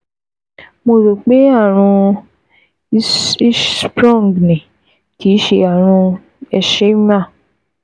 Mo rò pé àrùn Hirschsprung ni, kì í ṣe àrùn Hersheimer